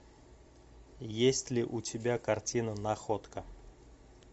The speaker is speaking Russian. есть ли у тебя картина находка